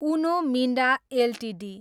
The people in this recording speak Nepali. उनो मिन्डा एलटिडी